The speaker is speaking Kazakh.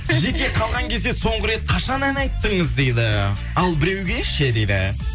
жеке қалған кезде соңғы рет қашан ән айттыңыз дейді ал біреуге ше дейді